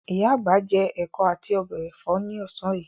Ìyá àgbà jẹ ẹ̀kọ́ àti ọbẹ̀ ẹ̀fọ́ ní ọ̀sán yìí.